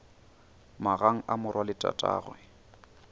magang a morwa le tatagwe